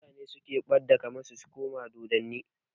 Mutane ne suke ɓadda kama su koma dodanni